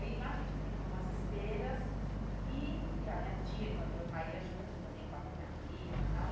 Aí lá a gente estendia umas esteiras e e a minha tia, irmã do meu pai, ia junto também com a minha prima e tal.